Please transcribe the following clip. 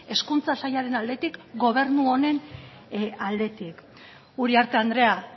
hezkuntza sailaren aldetik gobernu honen aldetik uriarte andrea